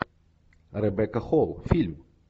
ребекка холл фильм